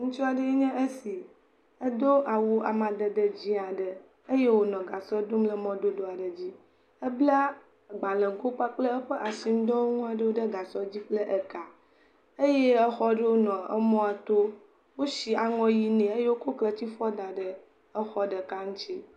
Ŋutsu aɖee nye esi, edo awu amadededzi aɖe eye wònɔ gasɔ dom le mɔdodo aɖe dzi, abla agbalẽgo kple eƒe asinudɔ aɖewo ɖe gasɔ dzi kple ka, eye exɔ aɖewo le mɔto, wosi aŋɔʋi ne eye wokɔ kletifɔ da ɛɖe exɔ aɖe ŋuti.